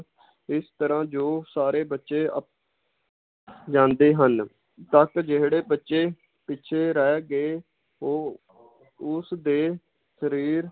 ਇਸ ਤਰਾਂ ਜੋ ਸਾਰੇ ਬੱਚੇ ਅਪ~ ਜਾਂਦੇ ਹਨ ਤੱਕ ਜਿਹੜੇ ਬੱਚੇ ਪਿਛੇ ਰਹਿ ਗਏ ਉਹ ਉਸ ਦੇ